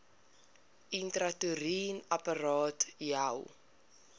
intrauteriene apparaat iua